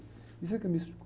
Isso é que é místico.